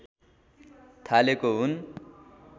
थालेको हुन्